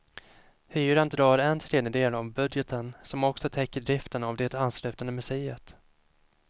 Hyran drar en tredjedel av budgeten som också täcker driften av det anslutande museet.